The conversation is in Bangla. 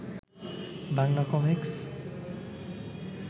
বাংলা কমিকস